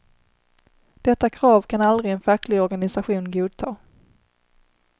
Detta krav kan aldrig en facklig organisation godta.